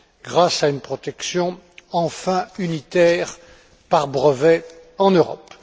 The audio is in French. grâce à une protection enfin unitaire par brevet en Europe.